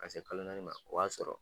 Ka se kalo naani ma o b'a sɔrɔ